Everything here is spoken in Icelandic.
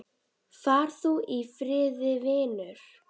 Far þú í friði, vinur.